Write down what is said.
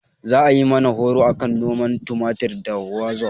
Za ayi mana horo akan noman tumatir ta wazof